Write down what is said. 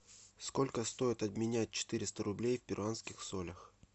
сколько стоит обменять четыреста рублей в перуанских солях